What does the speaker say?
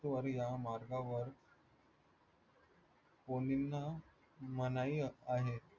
या मार्गावर मनाई आहे.